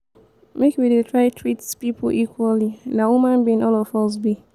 make we dey try treat pipo equally na human being all of us be.